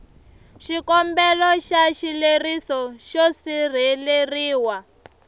xikombelo xa xileriso xo sirheleriwa